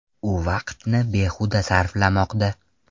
U vaqtni behuda sarflamoqda.